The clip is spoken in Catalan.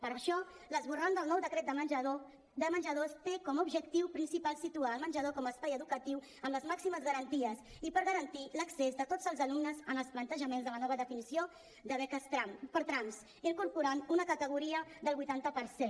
per això l’esborrany del nou decret de menjadors té com a objectiu principal situar el menjador com a espai educatiu amb les màximes garanties i per garantir l’accés de tots els alumnes en els plantejaments de la nova definició de beques per trams incorporant una categoria del vuitanta per cent